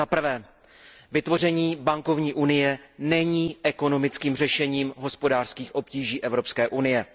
Zaprvé vytvoření bankovní unie není ekonomickým řešením hospodářských obtíží Evropské unie.